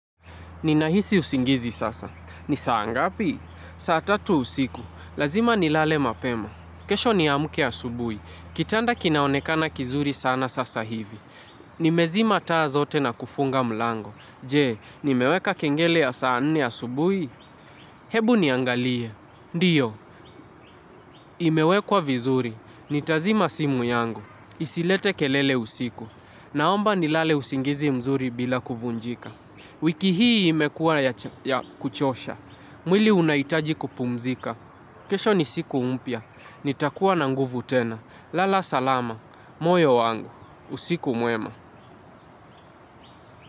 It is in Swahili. Ninahisi usingizi sasa. Ni saa ngapi? Saatatu usiku. Lazima ni lale mapema. Kesho ni amke asubui. Kitanda kinaonekana kizuri sana sasa hivi. Nimezima taa zote na kufunga mlango. Je, nimeweka kengele ya saa nne asubui? Hebu niangalie. Ndiyo, imewekwa vizuri. Nitazima simu yangu. Isilete kelele usiku. Naomba ni lale usingizi mzuri bila kuvunjika. Wiki hii imekuwa ya kuchosha. Mwili unaitaji kupumzika. Kesho ni siku mpya. Nitakuwa na nguvu tena. Lala salama. Moyo wangu usiku mwema.